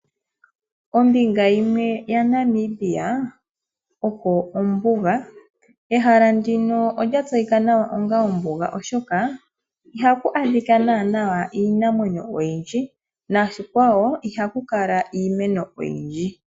Kombinga yimwe ya Namibia oko ombuga. Ehala ndino olya tseyika nawa onga ombuga oshoka ihaku adhika naanaa iinamwenyo oyindji noshikwawo ihaku kala iimeno oyindji.